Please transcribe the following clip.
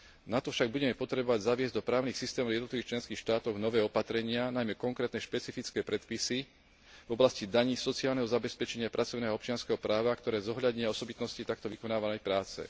Na to však budeme potrebovať zaviesť do právnych systémov jednotlivých členských štátov nové opatrenia, najmä konkrétne špecifické predpisy v oblasti daní, sociálneho zabezpečenia, pracovného a občianskeho práva, ktoré zohľadnia osobitosti takto vykonávanej práce.